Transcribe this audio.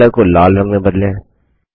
font colour को लाल रंग में बदलें